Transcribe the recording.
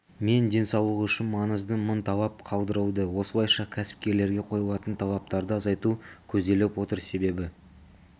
мен денсаулығы үшін маңызды мың талап қалдырылды осылайша кәсіпкерлерге қойылатын талаптарды азайту көзделіп отыр себебі